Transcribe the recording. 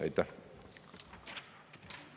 Aitäh!